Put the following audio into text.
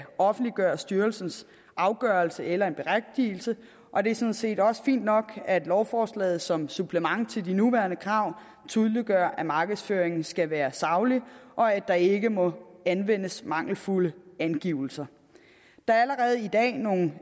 offentliggøre styrelsens afgørelse eller en berigtigelse og det er sådan set også fint nok at lovforslaget som supplement til de nuværende krav tydeliggør at markedsføringen skal være saglig og at der ikke må anvendes mangelfulde angivelser der er allerede i dag nogle